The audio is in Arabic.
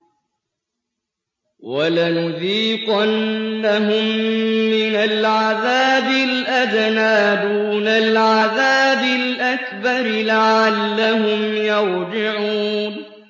وَلَنُذِيقَنَّهُم مِّنَ الْعَذَابِ الْأَدْنَىٰ دُونَ الْعَذَابِ الْأَكْبَرِ لَعَلَّهُمْ يَرْجِعُونَ